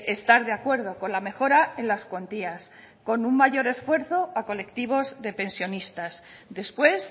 estar de acuerdo con la mejora en las cuantías con un mayor esfuerzo a colectivos de pensionistas después